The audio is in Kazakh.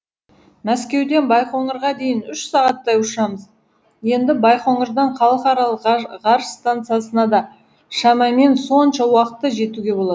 мәскеуден байқоңырға дейін үш сағаттай ұшамыз енді байқоңырдан халықаралық ғарыш стансасына да шамамен сонша уақытта жетуге болады